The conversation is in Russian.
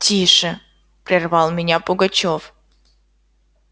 тише прервал меня пугачёв